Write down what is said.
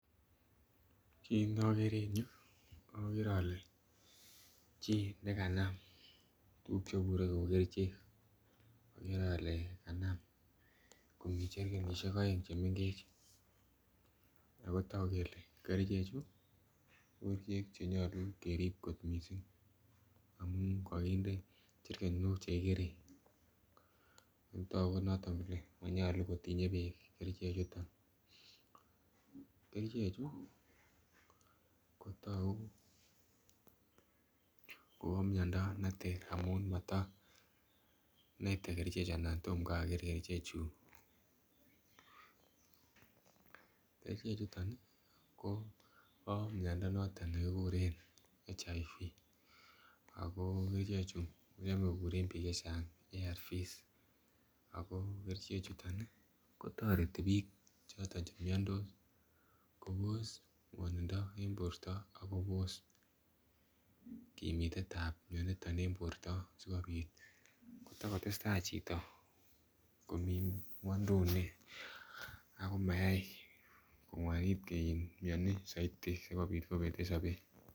Kit nokere en yuu okere ole chii nekanam tukuk chebure kou kerichek, okere ole kanam kou cherkenishek oeng chemengech ako toku kele kerichek chuu ko kerichek chenyolu kerib kot missing ngamun kokinde cherkenok chekikere otoku noton kole monyolu kotinye beek kerichek chuton. Kerichek chuu kotoku Kobo miondo neter amun moto miten kerichek chuu ana tomkai okere kerichek chuu . Kerichek chuton ko bo miondo noton nekikuren HIV ako kerichek chuu kochome kokuren bik chechang ARVS ako kerichek chuton nii kotoreti bik choton chemiondos Kobos ngwonindo en borto ak Kobos kimitetab mioniton en borto sikopit akotakotesta chito komii ngwoiduni ako mayai kongwani mioni soiti sikopit kopeten sobet.